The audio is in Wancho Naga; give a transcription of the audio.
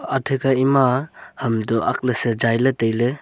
atha kha ema ham toh ang lan ley sejai ley tai ley.